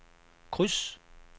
kryds